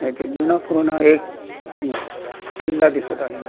येथे जुनापुराणा एक किल्ला दिसत आहे.